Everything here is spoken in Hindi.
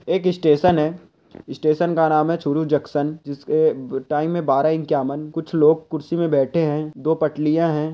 एक स्टेशन है स्टेशन का नाम चूरू जंक्शन जिसके टाइम बारा एक्कावान कुछ लोग कुर्सी पे बैठे है दो पटरिया है।